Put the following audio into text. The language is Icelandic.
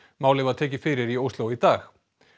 málið var tekið fyrir í Ósló í dag